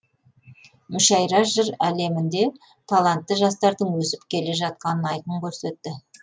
мүшәйра жыр әлемінде талантты жастардың өсіп келе жатқанын айқын көрсетті